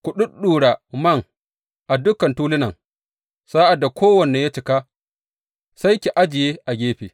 Ku ɗuɗɗura man a dukan tulunan, sa’ad da kowanne ya cika, sai ki ajiye a gefe.